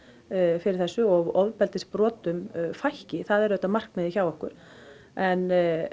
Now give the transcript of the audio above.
fyrir þessu og ofbeldisbrotum fækki það er auðvitað alltaf markmiðið hjá okkur en